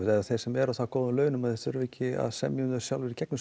eða þeir sem eru á það góðum launum að þeir þurfi ekki að semja um þau sjálfir í gegnum